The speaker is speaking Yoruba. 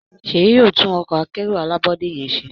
Seyi yóò tún Ọkọ̀ akẹ́rù alábọ́dé yén ṣe